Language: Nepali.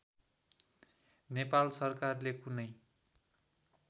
नेपाल सरकारले कुनै